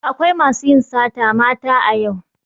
Akwai masu yin sata mata a yau.